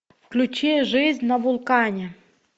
включи жизнь на вулкане